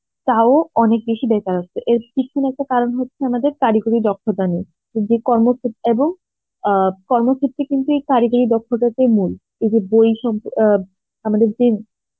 তাও অনেক বেশি বেকারত্ব এর পিছনে একটা কারণ হচ্ছে আমাদের কারিগরী দক্ষতা নিয়ে, যে কর্ম এবং আ কর্ম ক্ষেত্রে কিন্তু এই কারিগরী দক্ষতা টাই মূল এই যে বই সম~ আ আমাদের যে